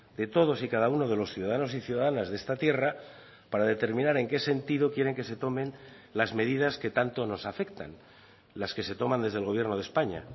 de todos y cada uno de los ciudadanos y ciudadanas de esta tierra para determinar en qué sentido quieren que se tomen las medidas que tanto nos afectan las que se toman desde el gobierno de españa